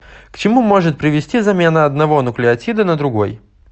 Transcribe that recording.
к чему может привести замена одного нуклеотида на другой